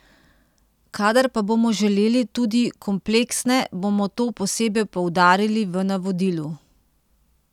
Kadar pa bomo želeli tudi kompleksne, bomo to posebej poudarili v navodilu.